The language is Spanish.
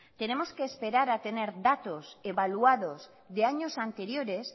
tenemos que esperar a tener datos evaluados de años anteriores